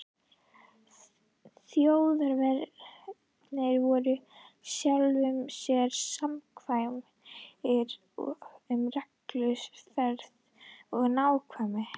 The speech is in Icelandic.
Þjóðverjarnir voru sjálfum sér samkvæmir um reglufestu og nákvæmni.